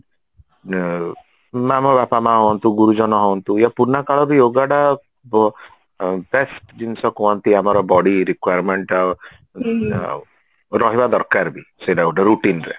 ଆମ ବାପା ମା ହୁଅନ୍ତୁ ଗୁରୁଜନ ହୁଅନ୍ତୁ ୟା ପୁରୁଣା କାଳ ବି yogaଟା best ଜିନିଷ କୁହନ୍ତି ଆମର body requirement ଆଉ ଆଉ ରହିବା ଦରକାର ବି ସେଇଟା ଗୋଟେ routineରେ